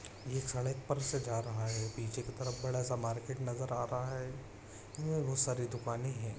ये सड़क पर से जा रहा है पीछे की तरफ बड़ा सा मार्केट नजर आ रहा है ये बहुत सारी दुकाने है।